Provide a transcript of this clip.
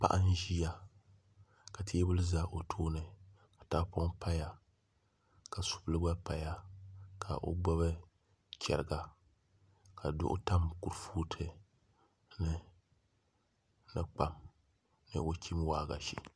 Paɣa n ʒiya ka teebuli ʒɛ o tooni ka tahapoŋ paya ka subili gba paya ka o gbuni chɛriga ka duɣu tam kurifooti puuni ni kpam ni o chim waagashe